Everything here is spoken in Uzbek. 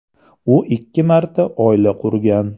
U ikki marta oila qurgan.